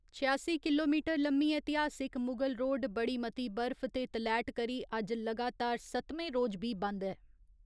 छेआसी किलोमीटर लम्मी ऐतिहासिक मुगल रोड बड़ी मती बर्फ ते तलैट करी अज्ज लगातार सत्तमें रोज बी बंद ऐ।